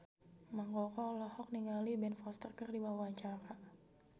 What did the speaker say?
Mang Koko olohok ningali Ben Foster keur diwawancara